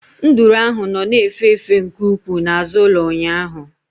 Nduru ahụ nọ na-efe efe nke ukwuu n'azụ ụlọ ụnyahụ.